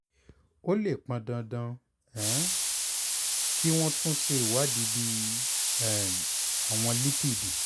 ó lè pọn dandan um kí wọ́n tún ṣe ìwádìí bíi um àwọ̀n lípìdì